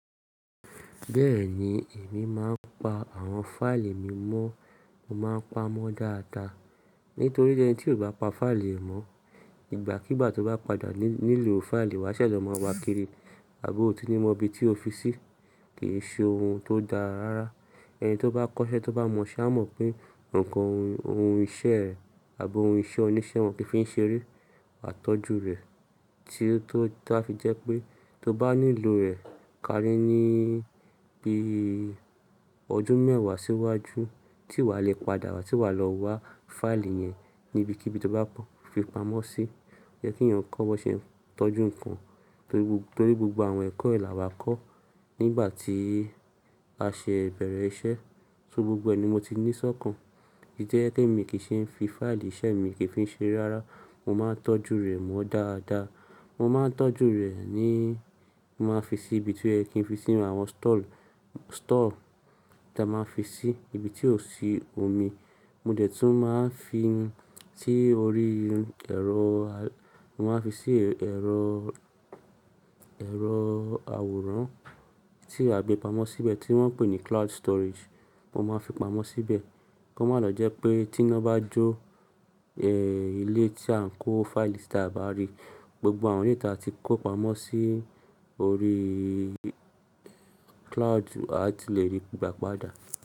Bẹ́ẹ̀ni, èmi máa ń pa àwọn fáìlì mi mọ́, mo máa ń pamọ́ dáadáa. Nítorí pé ẹni tí ò bá pa fáìlì mọ́, ìgbàkígbà tó bá padà nílò fáìlì wá ṣẹ̀ṣẹ̀ máa wá kiri àbọ̀ ò tií ni mọ ibi tí o fi sí. Kì í ṣe ohun tó dára rárá. Ẹni tó bá kọ́ṣẹ́ tó bá mọ iṣẹ́ mọ̀ pé nǹkan ohun iṣẹ́ rẹ̀ àbọ̀ ohun iṣẹ́ oníṣẹ́ wọn kí í fi ń ṣe eré, à tọ́jú rẹ̀ tí ó wá fi jẹ́ pé tó bá nílò rẹ̀ kárí ní bí ọdún mẹ́wàá síwájú tí wà lè padà wá tí wà lọ wá fáìlì yẹn níbi kíbí tó bá fi pamọ́ sí. Ó jẹ́ kí ènìyàn kó mọ́ ṣe tọ́jú nǹkan nítorí gbogbo àwọn ẹ̀kọ́ là wa kọ́ nígbà tí a ṣe bẹ̀rẹ̀ iṣẹ́. So gbogbo ẹni mo ti ní sọ́kàn. Idi to ẹ́ pé mi kì í ṣe ń fi fáìlì iṣẹ́ mi kì í fi ń ṣere rárá. Mo máa ń tọ́jú rẹ̀ mọ́ dáadáa. Mo máa ń tọ́jú rẹ̀ ní mo máa fi sí ibi tí ẹ kí ń fi sí àwọn stall táa máa fi sí ibi tí ò sí omi. Mo dẹ̀ tún máa ń fi sí orí ẹ̀rọ ẹ̀rọ àwòrán tí a gbé pamọ́ síbẹ̀ tí wọ́n ń pè ní cloud storage. Mo máa fi pamọ́ síbẹ̀ kí ó má lọ jẹ́ pé tí iná bá jó ilé tí à ń kó fáìlì sí táa bá rí, gbogbo àwọn èyí tí a ti kó pamọ́ sí orí cloud a ti lè rí gbà padà.